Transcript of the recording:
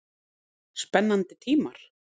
Spennandi tímar?